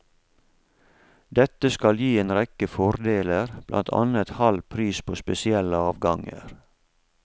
Dette skal gi en rekke fordeler, blant annet halv pris på spesielle avganger.